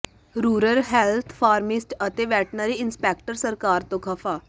rural health pharmacist ਤੇ veterinary inspector ਸਰਕਾਰ ਤੋਂ ਖਫ਼ਾ